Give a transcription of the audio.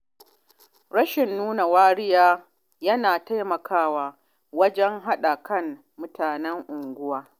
Rashin nuna wariya yana taimakawa wajen haɗa kan mutanen unguwa.